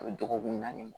A bɛ dɔgɔkun naani